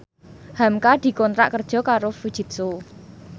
hamka dikontrak kerja karo Fujitsu